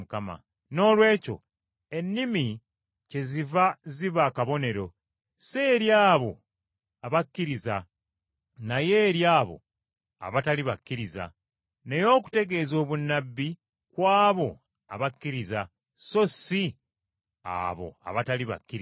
Noolwekyo ennimi kyeziva ziba akabonero, si eri abo abakkiriza naye eri abo abatali bakkiriza, naye okutegeeza obunnabbi kw’abo abakkiriza so si abo abatali bakkiriza.